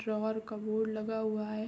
शहर का बोर्ड लगा हुआ हैं।